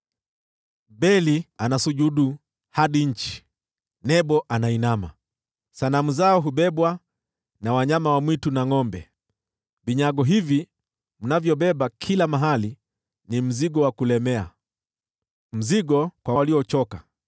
Beli anasujudu hadi nchi, Nebo anainama; sanamu zao zabebwa na wanyama wa mizigo. Vinyago hivi mnavyobeba kila mahali ni mzigo wa kulemea, mzigo kwa waliochoka.